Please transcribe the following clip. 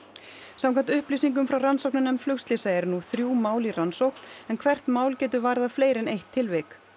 samkvæmt upplýsingum frá rannsóknarnefnd flugslysa eru nú þrjú mál í rannsókn en hvert mál getur varðað fleiri en eitt tilvik